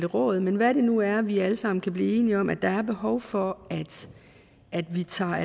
råd men hvad det nu er vi alle sammen kan blive enige om at der er behov for at vi tager